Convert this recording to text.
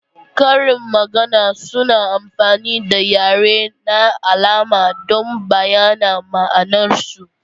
Karin magana suna amfani da yare na alama don bayyana ma'anarsu.